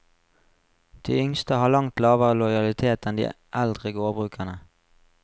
De yngste har langt lavere lojalitet enn de eldre gårdbrukerne.